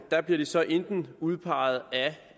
bliver de så enten udpeget af